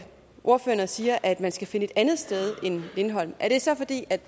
ordføreren og siger at man skal finde et andet sted end lindholm er det så fordi